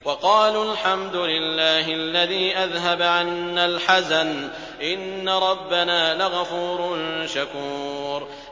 وَقَالُوا الْحَمْدُ لِلَّهِ الَّذِي أَذْهَبَ عَنَّا الْحَزَنَ ۖ إِنَّ رَبَّنَا لَغَفُورٌ شَكُورٌ